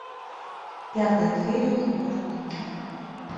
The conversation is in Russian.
пятая серия сериал цыганка